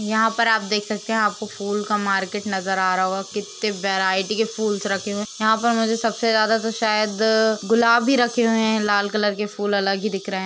यहाँ पर आप देख सकतें हैं आपको फूल का मार्केट नज़र आ रहा होगा कित्ते वैरायटी के फूल्स रखे हुएँ यहाँ पर मुझे सबसे ज्यादा तो शायद गुलाब ही रखे हुए हैं लाल कलर के फूल अलग ही दिख रहें --